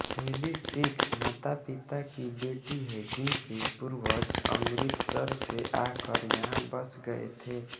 heli Sikh मातापिता की बेटी हैं जिनके पूर्वज अमृतसर से आकर यहां बस गए थे